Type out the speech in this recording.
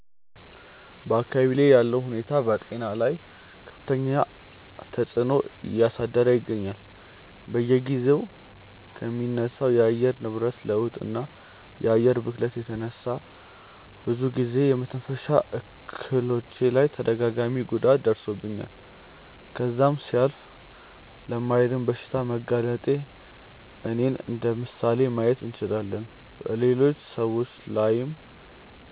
በአካባብዬ ላይ ያለው ሁኔታ በጤና ላይ ከፍተኛ ተፅዕኖ እያሳደረ ይገኛል። በየጊዜው ከሚነሳው የአየር ንብረት ለውጥ እና የአየር ብክለት የተነሳ ብዙ ጊዜ በመተንፈሻ አካሎቼ ላይ ተደጋጋሚ ጉዳት ደርሶብኝ ከዛም ሲያልፍ ለማይድን በሽታ በመጋለጤ እኔን እንደምሳሌ ማየት እንችላለን። በሌሎች ሰዎች ላይም